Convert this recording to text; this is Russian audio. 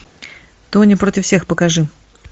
тоня против всех покажи